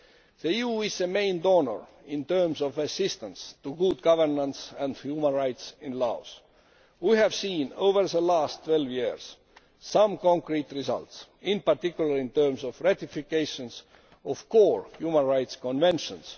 The EU is the main donor in terms of assistance to good governance and human rights in Laos. We have seen, over the last 12 years, some concrete results, in particular in terms of the ratification of core human rights conventions.